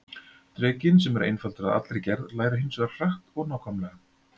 Drekinn, sem er einfaldur að allri gerð, lærir hins vegar hratt og nákvæmlega.